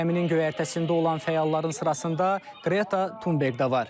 Gəminin göyərtəsində olan fəalların sırasında Qreta Tunberg də var.